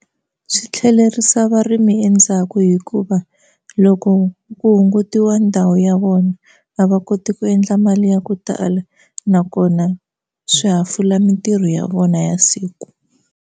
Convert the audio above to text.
Swi tlhelerisa varimi endzhaku hikuva loko ku hungutiwa ndhawu ya vona a va koti ku endla mali ya ku tala nakona swi hafula mitirho ya vona ya siku.